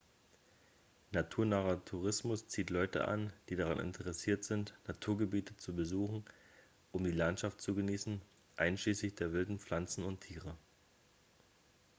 naturnaher tourismus zieht leute an die daran interessiert sind naturgebiete zu besuchen um die landschaft zu genießen einschließlich der wilden pflanzen und tiere